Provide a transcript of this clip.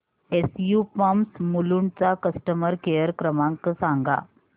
SU pumps Mulund चा customer care क्रमांक सांगा